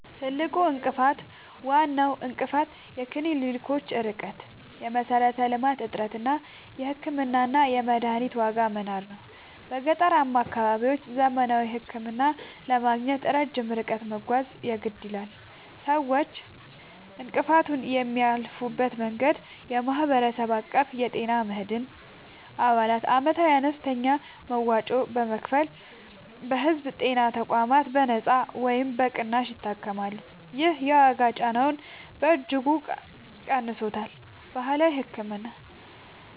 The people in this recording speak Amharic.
ትልቁ እንቅፋት፦ ዋናው እንቅፋት የክሊኒኮች ርቀት (የመሠረተ-ልማት እጥረት) እና የሕክምናና የመድኃኒት ዋጋ መናር ነው። በገጠራማ አካባቢዎች ዘመናዊ ሕክምና ለማግኘት ረጅም ርቀት መጓዝ የግድ ይላል። ሰዎች እንቅፋቱን የሚያልፉበት መንገድ፦ የማህበረሰብ አቀፍ የጤና መድን፦ አባላት ዓመታዊ አነስተኛ መዋጮ በመክፈል በሕዝብ ጤና ተቋማት በነጻ ወይም በቅናሽ ይታከማሉ። ይህ የዋጋ ጫናውን በእጅጉ ቀንሶታል። ባህላዊ ሕክምና፦